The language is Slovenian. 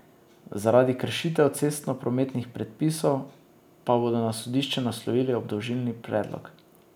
Zaradi kršitev cestnoprometnih predpisov pa bodo na sodišče naslovili obdolžilni predlog.